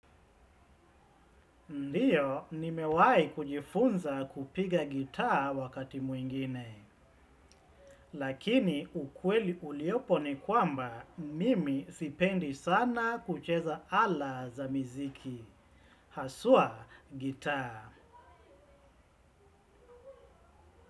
Ndiyo, nimewahi kujifunza kupiga gitaa wakati mwingine. Lakini ukweli uliopo ni kwamba, mimi sipendi sana kucheza ala za miziki. Haswa gitaa.